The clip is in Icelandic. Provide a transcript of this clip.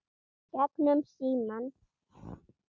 Gegnum símann.